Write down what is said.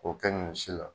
K'o kɛ ɲɔ si la